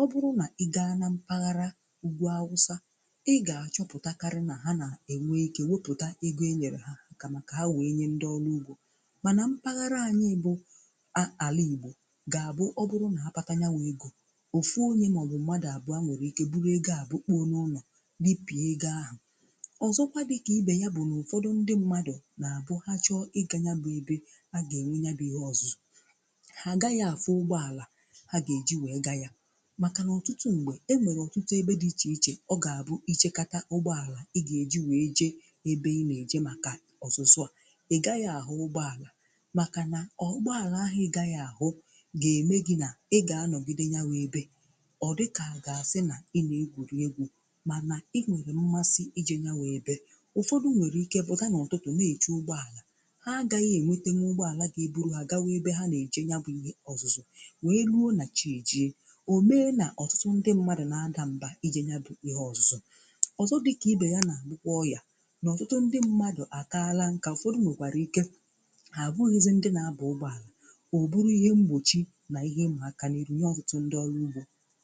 Ọ bụrụ̀ nà ị gaa na mpaghara ugwù awụsa, ị gà-achọpụtakarị nà ha nà-ènwe ike wepụ̀ta ego e nyere ha kàmà kà ha wee nye ndị ọlụ̀ ugbò. Mànà mpaghara anyị bụ a ala Igbo ga abụ ya bụrụ na apata ya wụ ego, ofu onye maọ̀bụ̀ mmadụ̀ abụa nwere ike burụu ego à bukpụọ̀ n’ụnọ̀ ripịa egȧ ahụ̀. Ọzọkwà dịkà ibe ya bụ n’ụfọdụ ndị mmadụ̀ na-abụ ha chọọ ịga ya bụ ebe a ga-enwe nya bụ ihe ọ̀zụzụ, ha gaghị afụ ụgbọalà ha ga-eji wee ga ya. Màkà nà ọtụtụ m̀gbè, e nwèrè ọtụtụ ebe dị ichè ichè ọ ga-abụ i chekatà ụgbọalà ị ga-eji wee je ebe ị na-eje màkà ọzụzụ a ị gaghị ahụ ụgbọalà makà nà ọ ụgbọalà ahụ ị gaghị ahụ̀ ga-eme gị na ị ganọgide nye wụ ebe ọ̀dịkà à ga-asị nà ị na-egwùri egwù mànà ị nwèrè mmasị̇ ijė nya wụ ebė. Ụfọdụ nwèrè ike pụ̀ta n’ụtụtụ na-èche ụgbọàlà ha àgaghị̇ ènwete nwu ụgbọàlà ga-eburu ha gawa ebe ha na-eje nya bụ̇ ihe ọ̀zụzụ wèe luo nà chi èji e, o mee nà ọ̀tụtụ ndị mmadụ̀ na-adà mbà ije nya bụ̇ ihe ọ̀zụzụ. Ọzọ dị̇ka ibè ya nà àbụkwa ọyà. N'ọ̀tụtụ ndị mmadụ̀ àkaala nkà, ụ̀fọdụ nwèkwàri ike ha abụghịzi ndị na-aba ụgbọala ọ bụrụ ihe mgbochi na ihe ịma aka n'iru nye ọtụtụ ndị ọrụ ugbo.